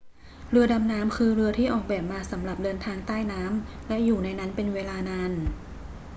เรือดำน้ำคือเรือที่ออกแบบมาสำหรับเดินทางใต้น้ำและอยู่ในนั้นเป็นเวลานาน